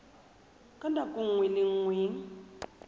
ka nako nngwe le nngwe